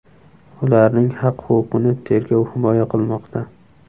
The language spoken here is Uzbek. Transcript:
Ularning haq-huquqini tergov himoya qilmoqda.